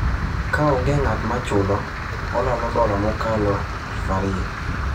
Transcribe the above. Ka onge ng’at ma chulo, olalo dola mokalo 2,000.